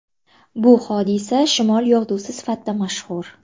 Bu hodisa shimol yog‘dusi sifatida mashhur.